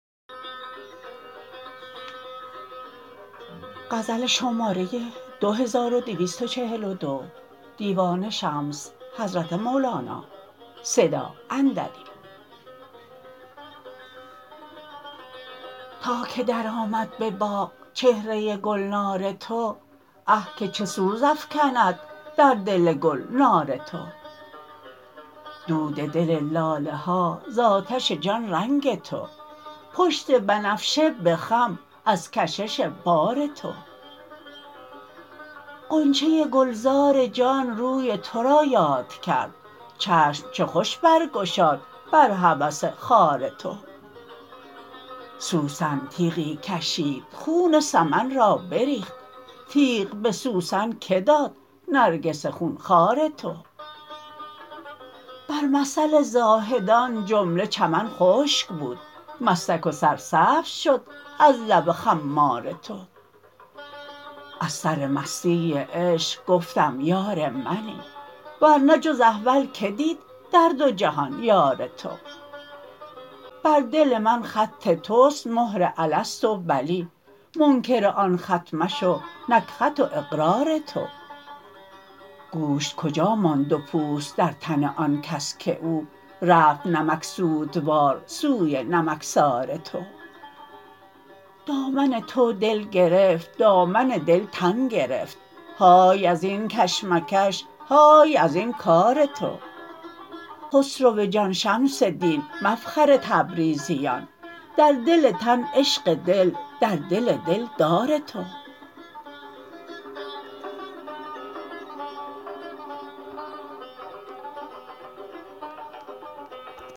تا که درآمد به باغ چهره گلنار تو اه که چه سوز افکند در دل گل نار تو دود دل لاله ها ز آتش جان رنگ تو پشت بنفشه به خم از کشش بار تو غنچه گلزار جان روی تو را یاد کرد چشم چه خوش برگشاد بر هوس خار تو سوسن تیغی کشید خون سمن را بریخت تیغ به سوسن کی داد نرگس خون خوار تو بر مثل زاهدان جمله چمن خشک بود مستک و سرسبز شد از لب خمار تو از سر مستی عشق گفتم یار منی ور نه جز احول کی دید در دو جهان یار تو بر دل من خط توست مهر الست و بلی منکر آن خط مشو نک خط و اقرار تو گوشت کجا ماند و پوست در تن آن کس که او رفت نمکسودوار سوی نمکسار تو دامن تو دل گرفت دامن دل تن گرفت های از این کش مکش های از این کار تو خسرو جان شمس دین مفخر تبریزیان در دل تن عشق دل در دل دلدار تو